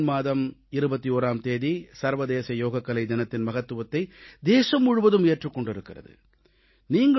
June மாதம் 21ஆம் தேதி சர்வதேச யோகக்கலை தினத்தின் மகத்துவத்தை தேசம் முழுவதும் ஏற்றுக் கொண்டிருக்கிறது